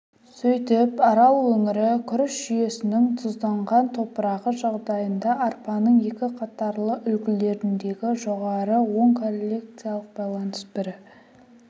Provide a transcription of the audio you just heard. сөйтіп арал өңірі күріш жүйесінің тұзданған топырағы жағдайында арпаның екі қатарлы үлгілеріндегі жоғары оң корреляциялық байланыс бір